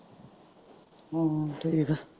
ਹਮ ਠੀਕ ਆ।